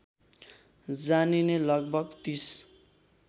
जानिने लगभग ३०